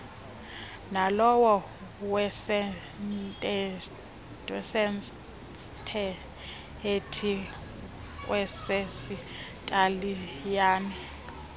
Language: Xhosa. nalowa wesestethi kweyesitaliyane